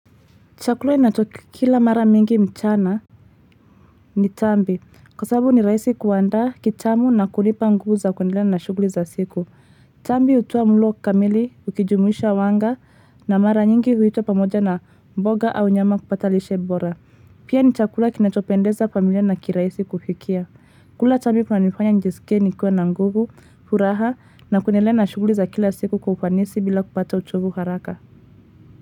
Chakula inatokikila mara mingi mchana ni tambi kwa sababu ni rahisi kuandaa kitamu na kunipa nguvu za kuendelea na shughuli za siku tambi hutoa mlo kamili ukijumuisha wanga na mara nyingi huitwa pamoja na mboga au nyama kupata lishe bora pia ni chakula kinachopendeza familia na kirahisi kufikia kula tambi kunanifanya nijisike ni kuwa na nguvu furaha na kuendelea na shughuli za kila siku kwa ufanisi bila kupata uchovu haraka.